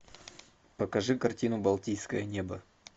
покажи картину балтийское небо